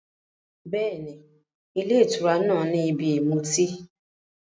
Bẹ́ẹ̀ni, ilé ìtura náà ni ibi ìmutí.